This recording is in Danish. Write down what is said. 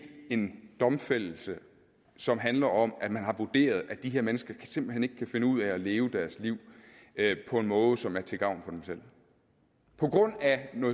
en domfældelse som handler om at man har vurderet at de her mennesker simpelt hen ikke kan finde ud af at leve deres liv på en måde som er til gavn for dem selv på grund af